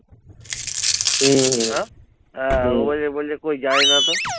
হম হম হ্যাঁ আহ বললে বলবি কি জানি না তো